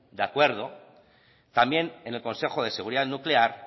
de acuerdo también en el consejo de seguridad nuclear